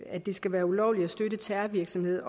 at det skal være ulovligt at støtte terrorvirksomhed